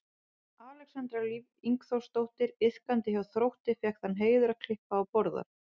Alexandra Líf Ingþórsdóttir iðkandi hjá Þrótti fékk þann heiður að klippa á borðann.